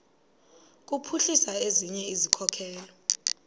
kuphuhlisa ezinye izikhokelo